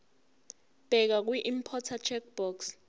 bheka kwiimporter checkbox